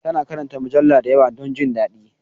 Ta na karanta mujallu da yawa don jin daɗi